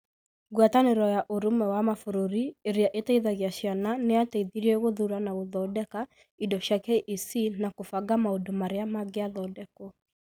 Ngwatanĩro ya Ũrũmwe wa Mabũrũri Ĩrĩa Ĩteithagia Ciana nĩ yateithirie gũthuura na gũthondeka indo cia KEC na kũbanga maũndũ marĩa mangĩathondekwo.